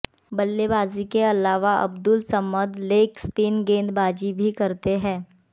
बल्लेबाजी के अलावा अब्दुल समद लेग स्पिन गेंदबाजी भी करते हैं